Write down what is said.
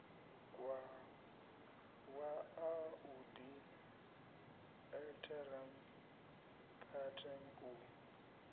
wa audi alteram partem u